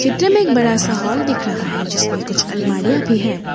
त्र में एक बड़ा सा हॉल दिख रहा है जिसमें कुछ अलमारियां भी है।